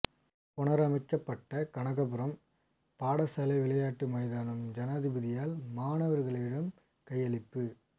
புனரமைக்கப்பட்ட கனகபுரம் பாடசாலை விளையாட்டு மைதானம் ஜனாதிபதியால் மாணவர்களிடம் கையளிப்பு